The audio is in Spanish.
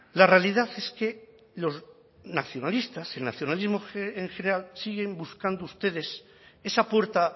la realidad es que los nacionalistas el nacionalismo en general siguen buscando ustedes esa puerta